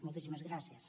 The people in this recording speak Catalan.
moltíssimes gràcies